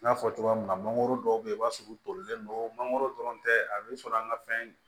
N y'a fɔ cogoya min na mangoro dɔw bɛ yen i b'a sɔrɔ u tolilen don mangoro dɔrɔn tɛ a bɛ sɔrɔ an ka fɛn